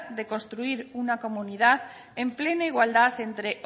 de construir una comunidad en plena igualdad entre